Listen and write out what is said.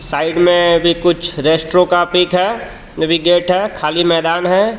Side में भी कुछ रेस्टरों का पिक है नेविगेट है खाली मैदान है।